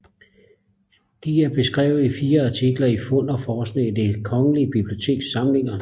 De er beskrevet i fire artikler i Fund og Forskning i Det Kongelige Biblioteks Samlinger